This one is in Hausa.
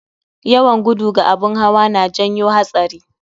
Yawan gudu ga abun hawa na janyo hatsari